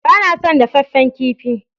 Ba na son dafaffen kifi